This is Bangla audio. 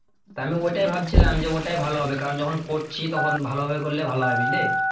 তা আমি ওটাই ভাবছিলাম যে ওটাই ভালো হবে কারণ যখন করছি তখন ভালোভাবে করলে ভালো হয় বুঝলি?